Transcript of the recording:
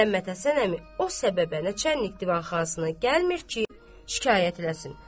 Məhəmməd Həsən əmi o səbəbə Nəçannik divanxanasını gəlmir ki, şikayət eləsin.